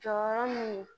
Jɔyɔrɔ mun ye